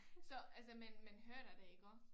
Så altså man man hører det da iggå